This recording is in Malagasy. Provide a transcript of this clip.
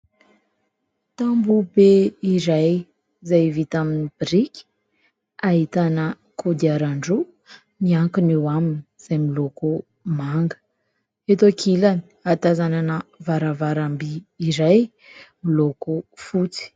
Tamboha be iray izay vita amin'ny biriky, ahitana kodiaran-droa miankina eo aminy izay miloko manga. Eto ankilany, ahatazanan varavaramby izay miloko fotsy.